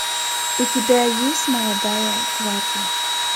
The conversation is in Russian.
у тебя есть молодая гвардия